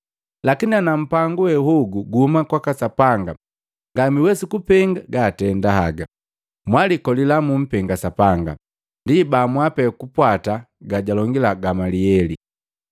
Lakini ana mpangu wehogu guhuma kwaka Sapanga ngamwiwesi kupenga gaatenda haga. Mwalikolila mumpenga Sapanga.” Ndi baamua pee kupwata gajalongila Gamlieli.